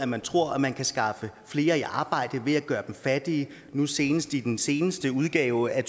man tror man kan skaffe flere i arbejde på nemlig ved at gøre dem fattige nu senest i den seneste udgave af